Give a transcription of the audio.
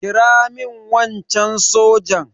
kira min wancan sojan!